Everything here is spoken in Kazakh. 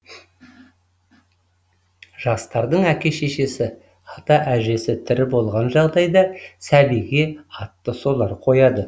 жастардың әке шешесі ата әжесі тірі болған жағдайда сәбиге атты солар қояды